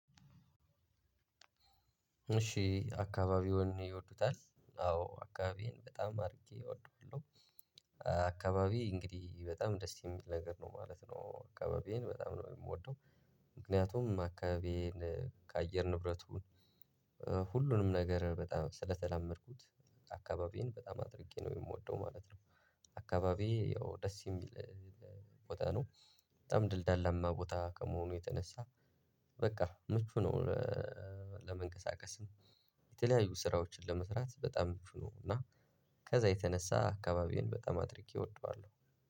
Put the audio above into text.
እሺ አካባቢውን ይወዱታል አዎ አካባቢዬን በጣም አድርጌ እወደዋለሁ። አካባቢ እንግዲህ በጣም ደስ የሚል ነገር ነው ማለት ነው አካባቢዬን በጣም ነው የምወደው። ምክንያቱም አካባቢዬን ከአየር ንብረቱን ሁሉንም ነገር በጣም ስለተላመድኩት። አካባቢዬን በጣም አድርጌ ነው የምወደው ማለት ነው። አካባቢዬ ያው ደስ የሚል ቦታ ነው። በጣም ደልዳላማ ቦታ ከመሆኑ የተነሳ በቃ ምቹ ነው። ለመንቀሳቀስ የተለያዩ ስራዎችን ለመስራት በጣም ፍሎ ነው። እና ከዛ የተነሳ አካባቢዬን በጣም አድርጌ እወደዋለሁ።